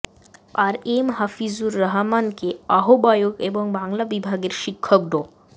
আর এম হাফিজুর রহমানকে আহ্বায়ক এবং বাংলা বিভাগের শিক্ষক ড